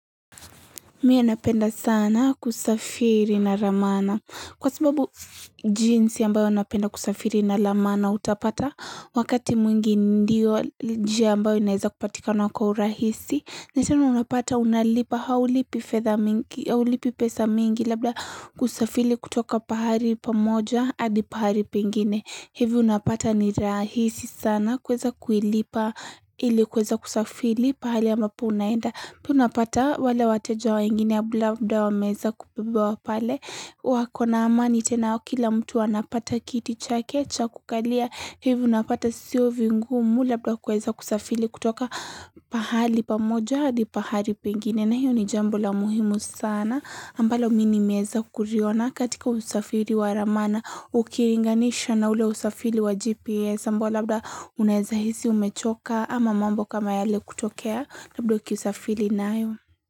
Mie napenda sana kusafiri na ramana. Kwa sababu jinsi ambayo napenda kusafiri na ramana utapata wakati mwingi ndio jia ambayo inaeza kupatikana kwa urahisi. Natena unapata unalipa haulipi pesa mingi labda kusafiri kutoka pahari pamoja adi pahari pengine. Hivi unapata ni rahisi sana kueza kuilipa ili kueza kusafiri pahali ambapo unaenda. Tunapata wale wateja wa ingine ya blabda wameeza kupebewa pale wakona amani tena kila mtu anapata kiti chake cha kukalia hivi unapata siyo vingumu labda kueza kusafili kutoka pahali pamoja Adi pahali pengine na hiyo ni jambo la muhimu sana ambalo mi nimeweza kuriona katika usafili wa ramana Ukiringanisha na ule usafili wa GPS ambao labda unaeza hisi umechoka ama mambo kama yale kutokea labda ukisa fili nayo.